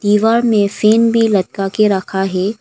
दीवार में फैन भी लटका के रखा है।